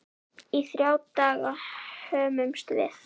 Í þrjá daga hömumst við.